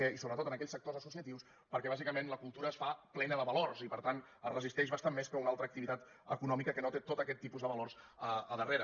i sobretot en aquells sectors asso ciatius perquè bàsicament la cultura es fa plena de valors i per tant es resisteix bastant més que una altra activitat econòmica que no té tot aquest tipus de valors a darrere